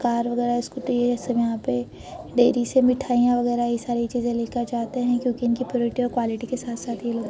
Car वगैरह scooty है। ये सब यहाँ पे डेयरी से मिठाइयां वगैरह ये सारी चीजें लेकर जाते हैं क्योंकि इनकी प्योरिटी और क्वालिटी के साथ-साथ ये लोग --